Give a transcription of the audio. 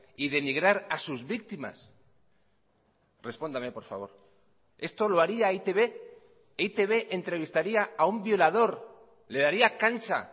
y denigrar a sus víctimas respóndame por favor esto lo haría e i te be e i te be entrevistaría a un violador le daría cancha